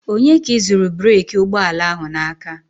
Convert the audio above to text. Onye ka ị zụrụ breeki ụgbọala ahụ n'aka?